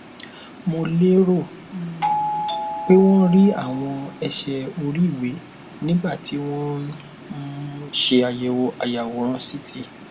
mo lérò um pé wón rí àwọn ẹsẹ oríiwe nígbà tí wọn ń um ṣe àyẹwò ayàwòrán ct